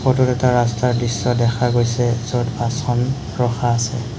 Photo ত এটা ৰাস্তাৰ দৃশ্য দেখা গৈছে য'ত বাছখন ৰখা আছে।